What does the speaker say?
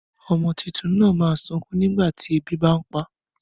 Ọmọ tuntun náà ma sunkún nígbàtí ebi bá ń pá